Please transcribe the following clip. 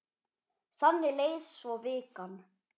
Þannig leið svo vikan.